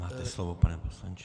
Máte slovo, pane poslanče.